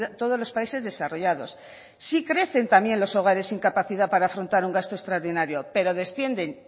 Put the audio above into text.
todos los países desarrollados sí crecen también los hogares sin capacidad para afrontar un gasto extraordinario pero descienden